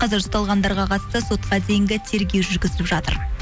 қазір ұсталғандарға қатысты сотқа дейінгі тергеу жүргізіліп жатыр